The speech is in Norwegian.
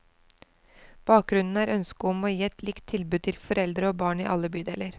Bakgrunnen er ønsket om å gi et likt tilbud til foreldre og barn i alle bydeler.